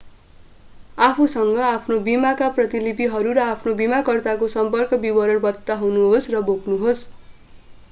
आफूसँग आफ्नो बीमाका प्रतिलिपिहरू र आफ्नो बीमाकर्ताको सम्पर्क विवरण बनाउनुहोस् र बोक्नुहोस्